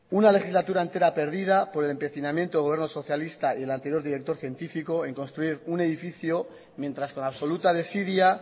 una legislatura entera perdida por el empecinamiento del gobierno socialista y del anterior director científico en construir un edificio mientras con absoluta desidia